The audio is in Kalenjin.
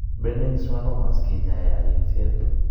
Benign schwannomas kinyaaye ak engset.